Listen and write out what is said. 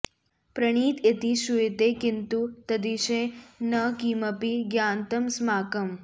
प्रणीत इति श्रूयते किन्तु तद्विषये न किमपि ज्ञातंमस्माकम्